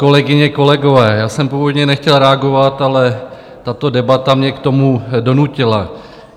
Kolegyně, kolegové, já jsem původně nechtěl reagoval, ale tato debata mě k tomu donutila.